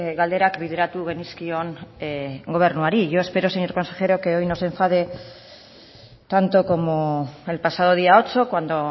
galderak bideratu genizkion gobernuari yo espero señor consejero que hoy no se enfade tanto como el pasado día ocho cuando